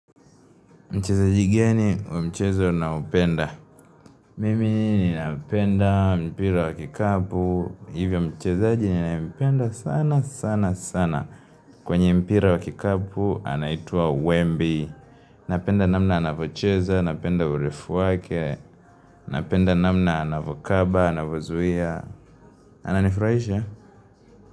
Mchezaji gani wa mchezo unaopenda? Mimi ninapenda mpira wa kikapu. Hivyo mchezaji ninayopenda sana sana sana. Kwenye mpira wa kikapu, anaitwa Wembi. Napenda namna anavocheza. Napenda urefu wake. Napenda namna anavokaba, anavozuia. Ananifraisha.